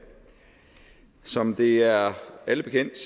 som det er alle bekendt